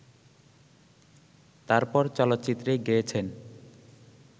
তারপর চলচ্চিত্রে গেয়েছেন